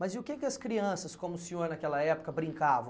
Mas e o que que as crianças, como o senhor naquela época, brincavam?